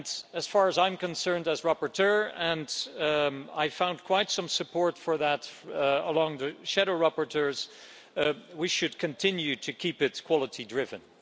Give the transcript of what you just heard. As far as I'm concerned, as rapporteur and I found quite some support for that among the shadow rapporteurs we should continue to keep it quality-driven.